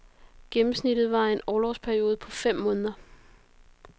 Gennemsnittet var en orlovsperiode på fem måneder.